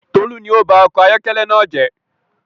Tolu ni ọ ba ọkọ̀ ayọkẹlẹ naa jẹ